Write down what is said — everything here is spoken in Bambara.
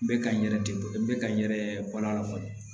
N bɛ ka n yɛrɛ de ka n yɛrɛ bɔ a la fɔlɔ